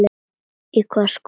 Í hvaða skóla varstu?